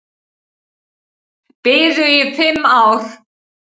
Biðu í fimm ár